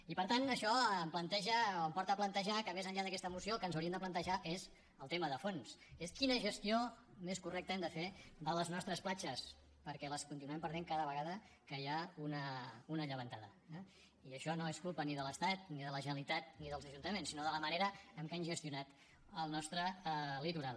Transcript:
i per tant això em planteja o em porta a plantejar que més enllà d’aquesta moció el que ens hauríem de plantejar és el tema de fons que és quina gestió més correcta hem de fer de les nostres platges perquè les continuem perdent cada vegada que hi ha una llevantada eh i això no és culpa ni de l’estat ni de la generalitat ni dels ajuntaments sinó de la manera en què han gestionat el nostre litoral